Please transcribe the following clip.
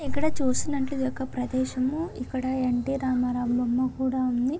ఇక్కడ చూసినట్లు ఈ యొక్క ప్రదేశము ఇక్కడ ఎన్ టి రామారావు బొమ్మ కూడా ఉంది.